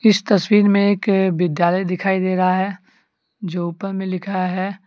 इस तस्वीर में के विद्यालय दिखाई दे रहा है जो ऊपर में लिखा है।